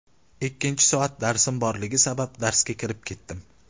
Ikkinchi soat darsim borligi sabab darsga kirib ketdim.